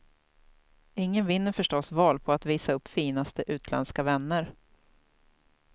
Ingen vinner förstås val på att visa upp finaste utländska vänner.